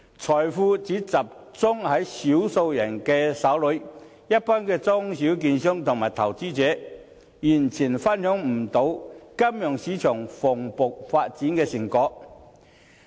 財富只集中在少數人手上，一般中小券商和投資者，完全無法分享金融市場蓬勃發展的成果。